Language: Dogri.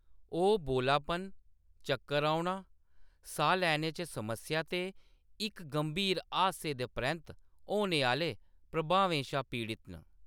ओह्‌‌ बोलापन, चक्कर औना, साह् लैने च समस्या ते इक गंभीर हादसे दे परैंत्त होने आह्‌‌‌ले प्रभावें शा पीड़त न।